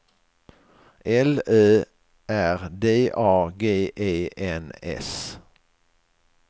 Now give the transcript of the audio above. L Ö R D A G E N S